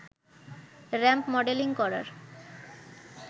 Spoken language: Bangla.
র‌্যাম্প মডেলিং করার